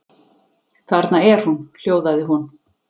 Þarna er hún, hljóðaði hún.